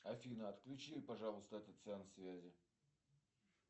афина отключи пожалуйста этот сеанс связи